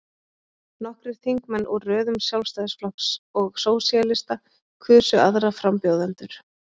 Nokkrir þingmenn úr röðum Sjálfstæðisflokks og Sósíalista kusu aðra frambjóðendur.